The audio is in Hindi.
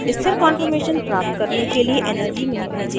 * स्थिर कॉन्फॉर्मेशन प्राप्त करने के लिए energy minimization करना